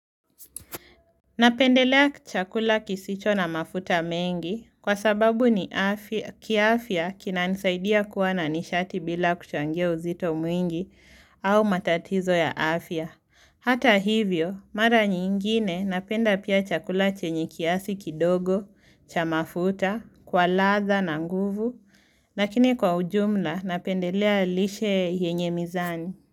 Napendelea chakula kisicho na mafuta mengi kwa sababu ni kia afya kinanisaidia kuwa na nishati bila kuchangia uzito mwingi au matatizo ya afya. Hata hivyo, mara nyingine napenda pia chakula chenye kiasi kidogo, chamafuta, kwa latha na nguvu, Lakini kwa ujumla napendelea lishe yenye mizani.